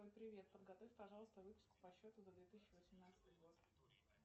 привет подготовь пожалуйста выписку по счету за две тысячи восемнадцатый год